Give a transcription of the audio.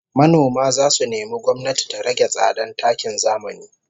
Manoma zasu nemi gwamnati ta rage tsadan takin zamani